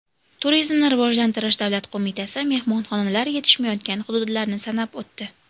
Turizmni rivojlantirish davlat qo‘mitasi mehmonxonalar yetishmayotgan hududlarni sanab o‘tdi.